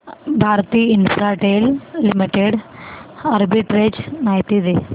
Bharti Infratel Limited arbitrage माहिती दे